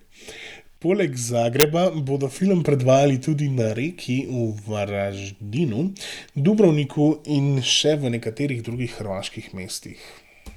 Poleg Zagreba bodo film predvajali tudi na Reki, v Varaždinu, Dubrovniku in še v nekaterih drugih hrvaških mestih.